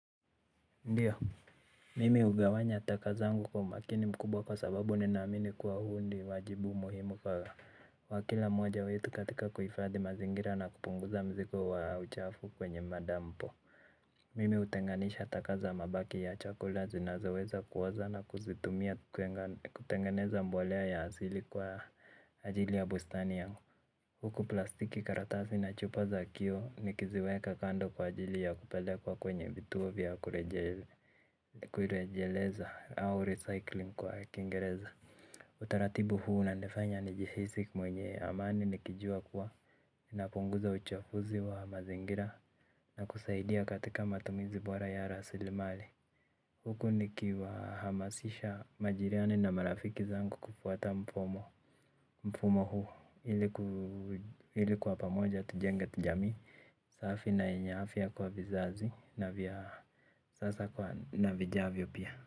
Ndiyo, mimi ugawanya takazangu kwa makini mkubwa kwa sababu ninaamini kwa huu ndi wajibu muhimu kwa wa kila mmoja wetu katika kuifadhi mazingira na kupunguza mzigo wa uchafu kwenye madampo. Mimi utenganisha taka za mabaki ya chakula zinazoweza kuoza na kuzitumia kutengeneza mbolea ya asili kwa ajili ya bustani yangu. Huku plastiki karatasi na chupa za kiyo ni kiziweka kando kwa ajili ya kupelekwa kwenye vituo vya kurejele kurejeleza au recycling kwa kingereza. Utaratibu huu unanifanya nijihisi mwenye amani nikijua kuwa napunguza uchafuzi wa mazingira na kusaidia katika matumizi bora ya rasili mali huku nikihamasisha majirani na marafiki zangu kufuata mfumo ili kwa pamoja tujenge jamii safi na yenye afya kwa vizazi na vya sasa na vijavyo pia.